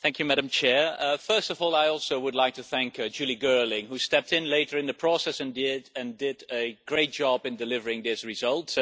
Madam President, first of all I too would like to thank Julie Girling, who stepped in later in the process and did a great job in delivering this result.